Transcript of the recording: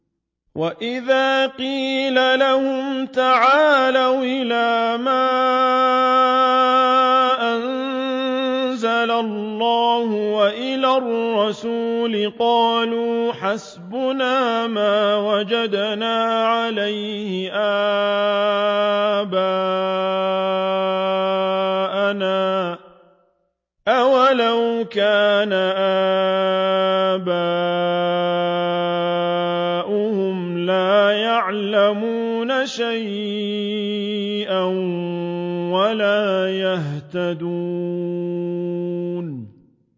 وَإِذَا قِيلَ لَهُمْ تَعَالَوْا إِلَىٰ مَا أَنزَلَ اللَّهُ وَإِلَى الرَّسُولِ قَالُوا حَسْبُنَا مَا وَجَدْنَا عَلَيْهِ آبَاءَنَا ۚ أَوَلَوْ كَانَ آبَاؤُهُمْ لَا يَعْلَمُونَ شَيْئًا وَلَا يَهْتَدُونَ